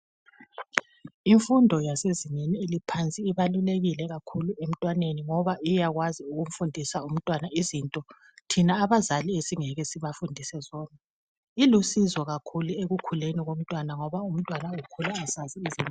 imfundo yasezingeni eliphansi ibalulekile kakhulu emntwaneni ngoba iyakwazi ukufundisa umntwana izinto thina abazali esingeke sibafundise zona ilusizo kakhulu ekukhuleni komntwana ngoba umntwana ukhula esazi izinto